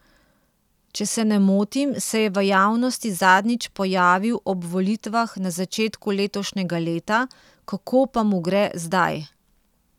Če se ne motim, se je v javnosti zadnjič pojavil ob volitvah na začetku letošnjega leta, kako pa mu gre zdaj?